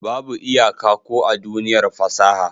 Babu iyaka ko a duniyar fasaha.